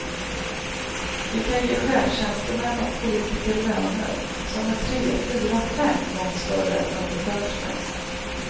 Vi kan ge chefstjänstemän och politiker löner som är tre, fyra, fem gånger större än undersköterskans.